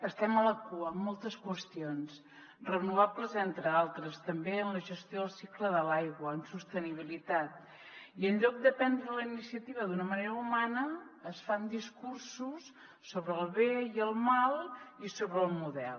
estem a la cua en moltes qüestions renovables entre d’altres també en la gestió del cicle de l’aigua en sostenibilitat i en lloc de prendre la iniciativa d’una manera humana es fan discursos sobre el bé i el mal i sobre el model